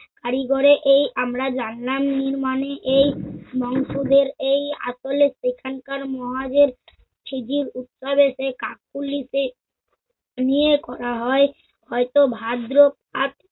কারিগরে এই আমরা জানলা নির্মানে এই নংসদের এই আতলে সেখানকার মহাজের শিগগির উপকারের সেই কাকুলিতে নিয়ে করা হয়। হয়ত ভাদ্র আর